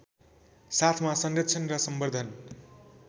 साथमा संरक्षण र सम्बर्द्धन